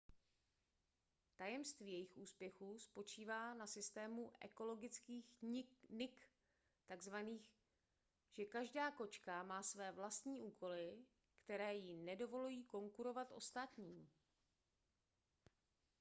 tajemství jejich úspěchu spočívá na systému ekologických nik tzn že každá kočka má své vlastní úkoly které jí nedovolují konkurovat ostatním